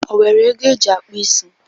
O were ego o jị akpụ isi?